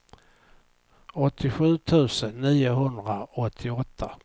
åttiosju tusen niohundraåttioåtta